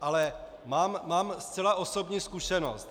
Ale mám zcela osobní zkušenost.